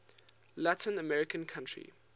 latin american country